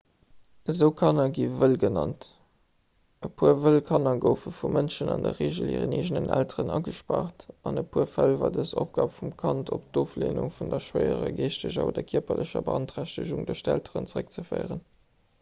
esou kanner gi wëll genannt. e puer wëll kanner goufe vu mënschen an der regel hiren eegenen elteren agespaart; an e puer fäll war dës opgab vum kand op d'ofleenung vun der schwéierer geeschteger oder kierperlecher beanträchtegung duerch d'elteren zeréckzeféieren